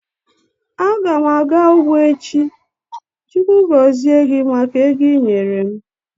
Agam aga ugbo echi. Chukwu gozie gi maka ego ị nyere m.